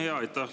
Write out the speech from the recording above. Aitäh!